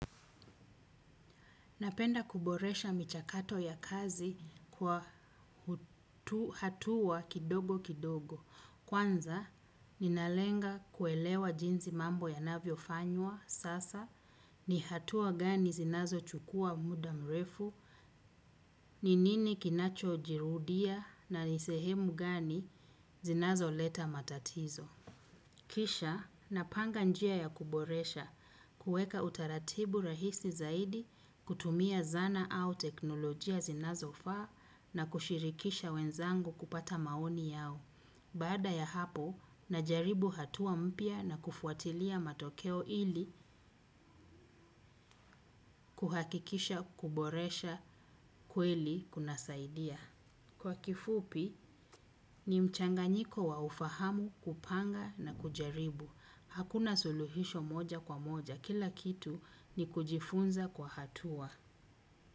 Napenda kuboresha michakato ya kazi kwa hatua kidogo kidogo. Kwanza, ninalenga kuelewa jinsi mambo yanavyo fanywa sasa, ni hatua gani zinazo chukua muda mrefu, ni nini kinacho jirudia na ni sehemu gani zinazo leta matatizo. Kisha napanga njia ya kuboresha kuweka utaratibu rahisi zaidi kutumia zana au teknolojia zinazofaa na kushirikisha wenzangu kupata maoni yao. Baada ya hapo najaribu hatua mpya na kufuatilia matokeo ili kuhakikisha kuboresha kweli kunasaidia. Kwa kifupi, ni mchanganyiko wa ufahamu, kupanga na kujaribu. Hakuna suluhisho moja kwa moja. Kila kitu ni kujifunza kwa hatua.